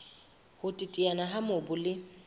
ho teteana ha mobu le